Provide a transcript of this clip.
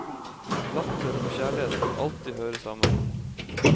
Latter og kjærlighet vil alltid høre sammen.